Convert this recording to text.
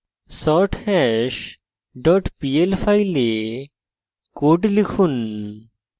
sorthash dot pl file code লিখুন